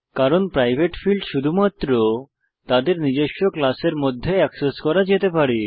কারণ private field শুধুমাত্র তাদের নিজের ক্লাসের মধ্যে এক্সেস করা যেতে পারে